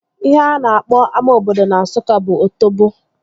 Ihe a na-akpọ ama obodo na Nsụka bụ Otobo